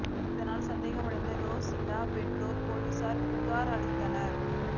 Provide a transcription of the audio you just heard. இதனால் சந்தேகம் அடைந்த ரோசிடா பெற்றோர் போலீசில் புகார் அளித்தனர்